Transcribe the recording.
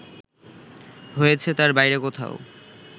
হয়েছে তার বাইরে কোথাও